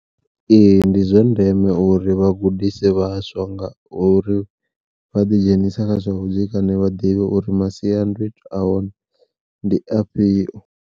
Ee ndi zwa ndeme uri vhagudise vhaswa ngauri vha ḓi dzhenisa kha zwavhudzekani vha ḓivhe uri masiandoitwa a hone ndi afhio.